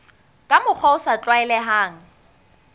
ka mokgwa o sa tlwaelehang